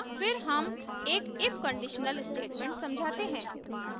फिर हम एक if कंडीशनल स्टेटमेंट समझाते हैं